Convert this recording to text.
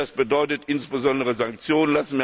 Das bedeutet insbesondere Sanktionen.